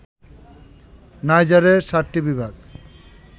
নাইজারে ৭টি বিভাগ